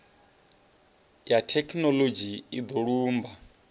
ya thekhinoḽodzhi i do lumba